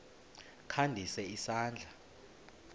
kha ndise isandla